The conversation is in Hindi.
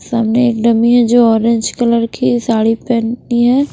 सामने एक डमी है जो ऑरेंज कलर की साड़ी पहनी है।